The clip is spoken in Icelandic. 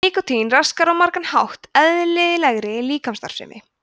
nikótín raskar á margan hátt eðlilegri líkamsstarfsemi